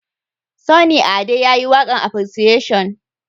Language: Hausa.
Sunny Ade ya yi waƙan appreciation